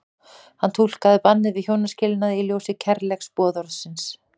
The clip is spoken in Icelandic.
Hann túlkaði bannið við hjónaskilnaði í ljósi kærleiksboðorðsins.